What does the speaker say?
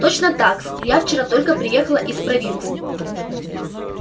точно так-с я вчера только приехала из провинции